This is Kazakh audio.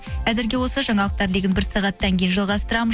әзірге осы жаңалықтар легін бір сағаттан кейін жалғастырамын